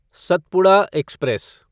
Satpura express